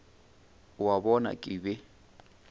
o a bona ke be